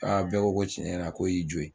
Aa bɛɛ bɔ ko tiɲɛ yɛrɛ la k'o y'i jo ye